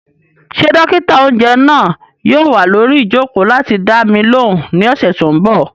Ṣé dókítà-oúnjẹ náà yóò wà lórí ìjòkó láti dá mi lóhùn ní ọ̀sẹ̀ tó n bọ̀?